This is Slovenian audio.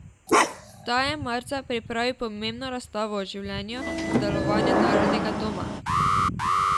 Ta je marca pripravil pomembno razstavo o življenju in delovanju Narodnega doma.